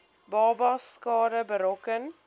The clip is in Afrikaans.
babas skade berokken